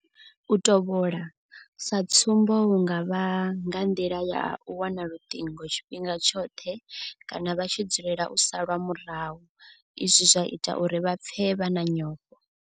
U tovhola, sa tsumbo hu nga vha nga nḓila ya u wana luṱingo tshifhinga tshoṱhe kana vha tshi dzulela u salwa murahu izwi zwa ita uri vha pfe vha na nyofho.